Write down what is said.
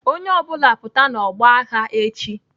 Onye ọ bụla pụta n'ọgbọ agha echi!